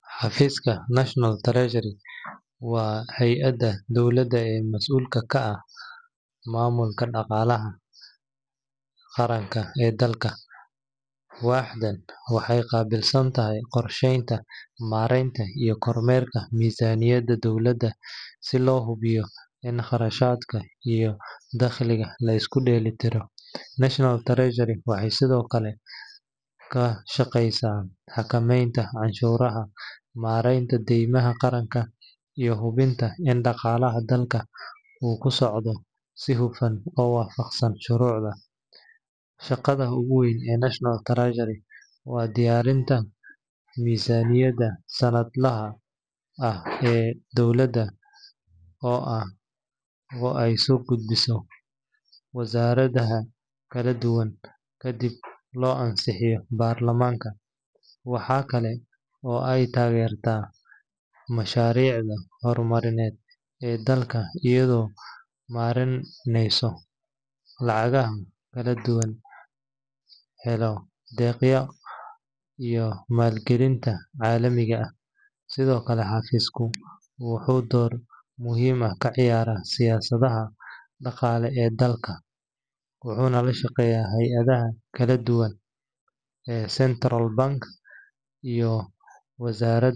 Xafiiska National Treasury waa hay’adda dowladda ee mas’uulka ka ah maamulka dhaqaalaha qaranka ee dalka. Waaxdan waxay qaabilsan tahay qorsheynta, maaraynta, iyo kormeerka miisaaniyadda dowladda si loo hubiyo in kharashaadka iyo dakhliga la isku dheelitirayo. National Treasury waxay sidoo kale ka shaqeysaa xakameynta canshuuraha, maareynta deymaha qaranka, iyo hubinta in dhaqaalaha dalka uu ku socdo si hufan oo waafaqsan shuruucda. Shaqada ugu weyn ee National Treasury waa diyaarinta miisaaniyadda sanadlaha ah ee dowladda oo ay soo gudbiso wasaaradaha kala duwan kadibna loo ansixiyo baarlamaanka. Waxa kale oo ay taageertaa mashaariicda horumarineed ee dalka iyadoo maareynaysa lacagaha laga helo deeqaha iyo maalgelinta caalamiga ah. Sidoo kale, xafiisku wuxuu door muhiim ah ka ciyaaraa siyaasadaha dhaqaale ee dalka, wuxuuna la shaqeeyaa hay’adaha kale sida Central Bank iyo wasaaradaha.